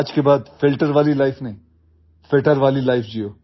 आज के बाद फिल्टर वाली लाइफ नहीं फिटर वाली लाइफ जियो